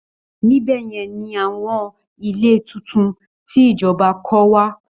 Níbẹ̀ yẹn ni àwọn ilé tuntun tí ìjọba kọ́ wà